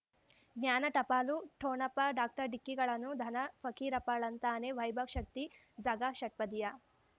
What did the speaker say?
ಜ್ಞಾನ ಟಪಾಲು ಠೊಣಪ ಡಾಕ್ಟರ್ ಢಿಕ್ಕಿ ಣಗಳನು ಧನ ಫಕೀರಪ್ಪ ಳಂತಾನೆ ವೈಭವ್ ಶಕ್ತಿ ಝಗಾ ಷಟ್ಪದಿಯ